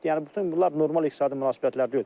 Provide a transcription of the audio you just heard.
Yəni bütün bunlar normal iqtisadi münasibətlər deyil.